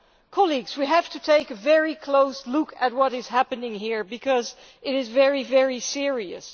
Colleagues, we need to take a very close look at what is happening here because it is very serious.